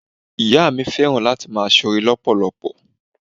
Ìyá mi fẹ́ràn láti máa sore lọpọlọpọ.